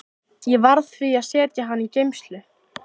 Ég varð því að setja hana í geymslu.